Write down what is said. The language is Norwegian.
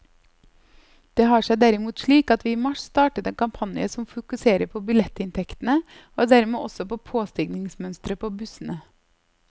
Det har seg derimot slik at vi i mars startet en kampanje som fokuserer på billettinntektene og dermed også på påstigningsmønsteret på bussene.